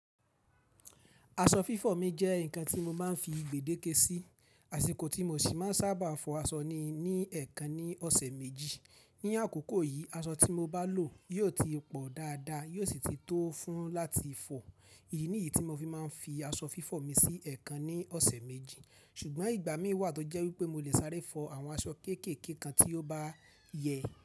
Aṣọ fífọ̀ mi jẹ́ nǹkan tí mo máa ń fi gbèdéke sí, àsìkò tí mo sì máa ń sábà fọ aṣọ ni, ní ẹẹkan ní ọ̀sẹ̀ méjì. Ní àkókò yìí, aṣọ tí mo bá lò yóò ti pọ̀ dáadáa, yóò sì ti tó fún láti fọ. Ìdí niyí tí mo fi máa ń fi aṣọ fífọ̀ mi sí ẹẹkan ní ọ̀sẹ̀ méjì. Ṣùgbọ́n ìgbà mí wà tó jẹ́ wípé mo lè sáré fọ àwọn aṣọ kéékèèké kan tí ó bá yẹ.